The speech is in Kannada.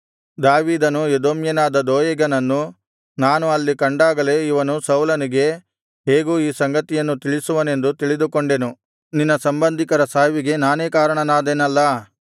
ದಾವೀದನು ಎದೋಮ್ಯನಾದ ದೋಯೇಗನನ್ನು ನಾನು ಅಲ್ಲಿ ಕಂಡಾಗಲೇ ಇವನು ಸೌಲನಿಗೆ ಹೇಗೂ ಈ ಸಂಗತಿಯನ್ನು ತಿಳಿಸುವನೆಂದು ತಿಳಿದುಕೊಂಡೆನು ನಿನ್ನ ಸಂಬಂಧಿಕರ ಸಾವಿಗೆ ನಾನೇ ಕಾರಣನಾದೆನಲ್ಲಾ